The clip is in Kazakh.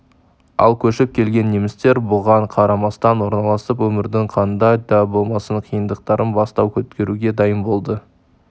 ал көшіп келген немістер бұған қарамастан орналасып өмірдің қанда да болмасын қиындықтарын бастан өткеруге дайын болды